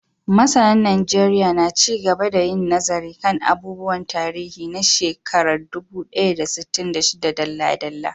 Masanan Najeriya na ci gaba da yin nazari kan abubuwan tarihi na shekarar dubu ɗaya da sittin da shida dalla-dalla.